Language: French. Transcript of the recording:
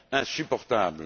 insupportables.